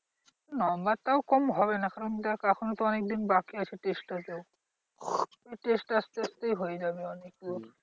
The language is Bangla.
Number টাও কম হবে না কারণ দেখ এখনও তো অনেক দিন বাকি আছে test টা তেও। test আসতে আসতেই হয়ে যাবে অনেক মানে পুরো।